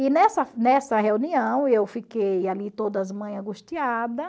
E nessa nessa reunião eu fiquei ali todas as mães angustiadas.